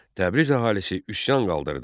Təbriz əhalisi üsyan qaldırdı.